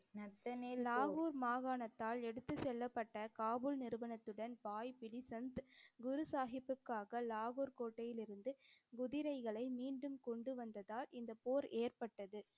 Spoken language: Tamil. லாகூர் மாகாணத்தால் எடுத்துச் செல்லப்பட்ட காபுல் நிறுவனத்துடன் பாய் பிரி சந்த் குரு சாஹிப்புக்காக லாகூர் கோட்டையிலிருந்து குதிரைகளை மீண்டும் கொண்டு வந்ததால் இந்தப் போர் ஏற்பட்டது.